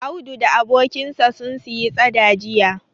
Audu da abokinsa sun siyi tsada jiya.